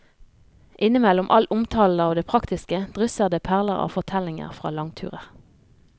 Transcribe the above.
Innimellom all omtalen av det praktiske drysser det perler av fortellinger fra langturer.